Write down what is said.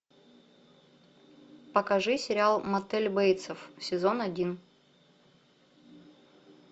покажи сериал мотель бейтсов сезон один